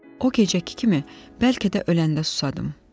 O gecə iki kimi bəlkə də öləndə susadım.